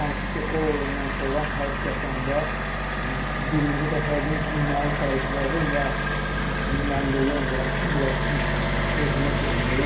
Hansı ki, o oyundan sonra həqiqətən də birinci dəfədim məni təriflədi və mən də yenə deyirəm ki, biraz özümə şey oldu.